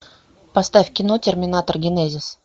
поставь кино терминатор генезис